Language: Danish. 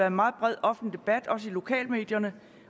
en meget bred offentlig debat også i lokalmedierne